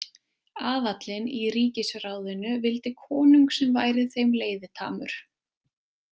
Aðallinn í ríkisráðinu vildi konung sem væri þeim leiðitamur.